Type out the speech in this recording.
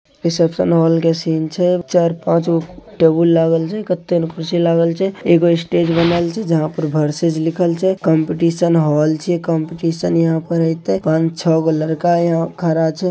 reception hall के सिन छे चार पाच गो टेगुल लागल छे कथे कुर्शी लाल छे एगो स्टेज बनल से जहा पर वर्सेज लिखल छे कॉम्पिटशन हॉल छे कॉम्पिटशन यहाँ पे रहिते पान छो गो लईका इहा खड़ा छे --